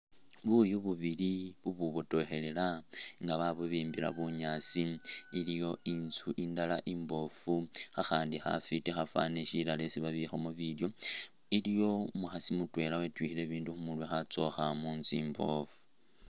Buyu bubili bubwibotokhelela nga babubimbila bunyaasi, iliyo inzu indala imboofu khakhandi khafwiti khafwani shirara yesi babikhamo bilyo. Iliwo umukhasi mutwela wetyukhile bindu khu murwe khatsokha mu nzu imboofu.